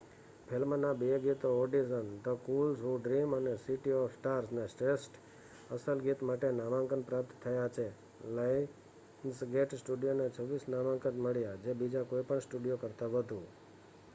ફિલ્મના બે ગીતો audition the fools who dream અને સિટી ઓફ સ્ટાર્સ ને શ્રેષ્ઠ અસલ ગીત માટે નામાંકન પ્રાપ્ત થયા છે. લાયન્સગેટ સ્ટુડિયોને 26 નામાંકન મળ્યા - જે બીજા કોઈપણ સ્ટુડિયો કરતા વધુ